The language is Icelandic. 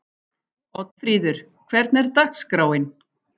Oddfríður, hvernig er dagskráin?